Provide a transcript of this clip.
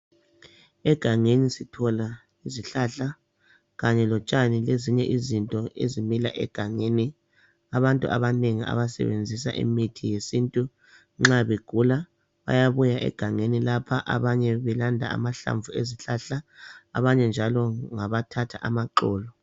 Egangeni sithola izihlahla lotshani kanye lezinye izinto ezimila egangeni. Abantu abanengi abasebenzisa imithi yesintu nxa begula bayabuya egangeni lapha abanye belanda amahlamvu ezihlahla, abanye njalo ngabathatha amaxolo.